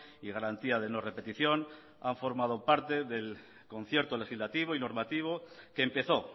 y garantía de no repetición han formado parte del concierto legislativo y normativo que empezó